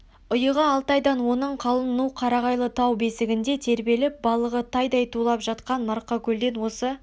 ұйығы алтайдан оның қалын ну қарағайлы тау бесігінде тербеліп балығы тайдай тулап жатқан марқакөлден осы